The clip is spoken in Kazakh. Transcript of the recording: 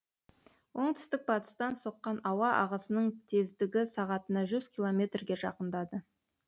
оңтүстік батыстан соққан ауа ағысының тездігі сағатына жүз километрге жақындады